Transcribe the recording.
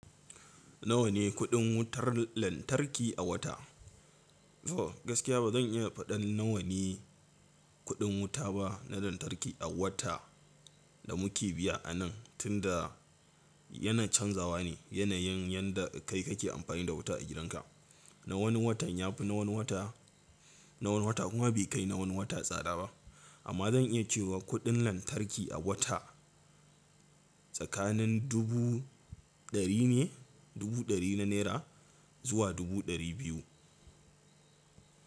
Nawa ne kuɗin wutar lantarki a wata? Oh, gaskiya ba zan iya faɗar nawa ne kuɗin wuta ba na lantarki a wata da muke biya anan tunda yana canzawa ne. Yanayin yanda kai kake amfani da wuta a gidanka. Na wani watan ya fi na wani wata, na wani wata kuma bai kai na wani wata tsada ba. Amma zan iya cewa kuɗin lantarki a wata tsakanin dubu ɗari ne, dubu ɗari na naira zuwa dubu ɗari biyu.